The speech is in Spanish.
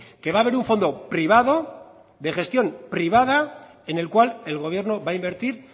que va a haber un fondo privado de gestión privada en el cual el gobierno va a invertir